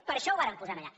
per això ho vàrem posar allà